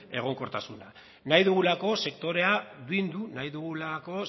egonkortasuna bilduk nahi dugulako